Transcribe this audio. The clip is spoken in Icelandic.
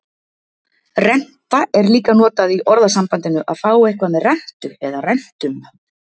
Renta er líka notað í orðasambandinu að fá eitthvað með rentu eða rentum.